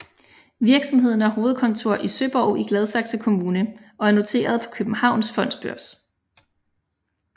Virksomheden har hovedkontor i Søborg i Gladsaxe Kommune og er noteret på Københavns Fondsbørs